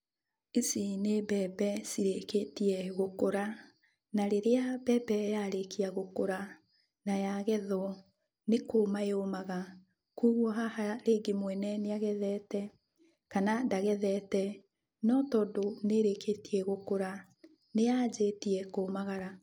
Ici nĩ mbembe cirĩkĩtie gũkũra, na rĩrĩa mbembe yarĩkia gũkũra na yagethwo nĩ kũma yũmaga. Kuoguo haha rĩngĩ mwene nĩagethete kana ndagethete no tondũ nĩĩrĩĩtie gũkũra nĩyanjĩtie kũmagara.